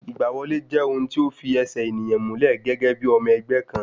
Ìgbà wọlé jẹ́ ohun tí o fi ẹsẹ̀ ènìyàn múlẹ̀ gẹ́gẹ́ bí ọmọ ẹgbẹ́ kan